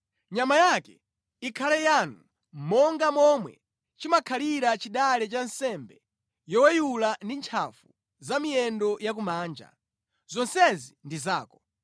Nyama yake ikhale yanu monga momwe chimakhalira chidale cha nsembe yoweyula ndi ntchafu za miyendo ya kumanja, zonsezi ndi zako.